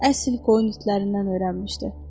Əsl qoyun itlərindən öyrənmişdi.